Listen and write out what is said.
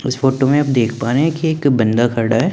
इस फोटो में आप देख पा रहे है कि एक बंदा खड़ा है।